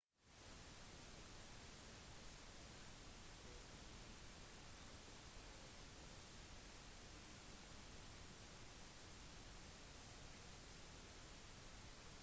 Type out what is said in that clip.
vidal har deltatt i 49 kamper for sportsklubben etter han flyttet til den katalanske hovedstaden